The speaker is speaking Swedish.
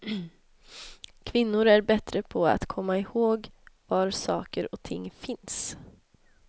Kvinnor är bättre på att komma ihåg var saker och ting finns.